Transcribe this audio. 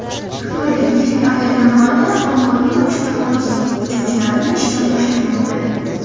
Xitoydagi yirik aviakompaniyalar ommaviy ravishda xorijlik uchuvchilarni ishdan bo‘shatmoqda.